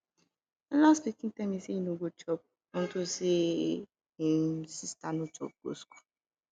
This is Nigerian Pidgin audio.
my last pikin tell me say he no go chop unto say im sister no chop go school